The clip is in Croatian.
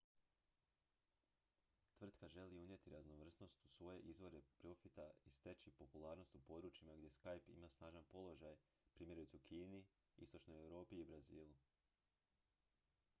tvrtka želi unijeti raznovrsnost u svoje izvore profita i steći popularnost u područjima gdje skype ima snažan položaj primjerice u kini istočnoj europi i brazilu